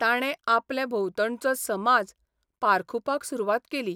ताणे आपले भोंवतणचो समाज पारखुपाक सुरवात केली.